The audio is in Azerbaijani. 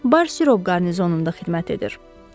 Bar sirop qarnizonunda xidmət edir.